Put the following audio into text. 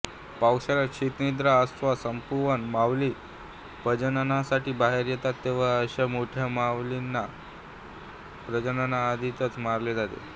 पावसाळ्यात शीतनिद्रा अवस्था संपवून मावली प्रजननासाठी बाहेर येतात तेव्हा अशा मोठ्या मावलीना प्रजननाआधीच मारले जाते